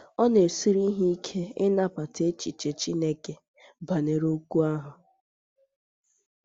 Ọ na - esiri ha ike ịnabata echiche Chineke banyere okwu ahụ.